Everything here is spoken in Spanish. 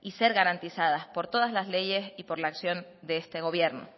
y ser garantizadas por todas las leyes y por la acción de este gobierno